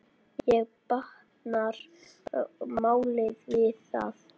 Ekki batnar málið við það.